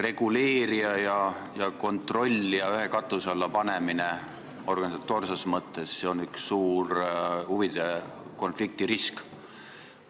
Reguleerija ja kontrollija organisatoorses mõttes ühe katuse alla panemine toob kaasa suure huvide konflikti riski.